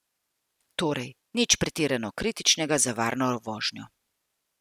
Torej nič pretirano kritičnega za varno vožnjo.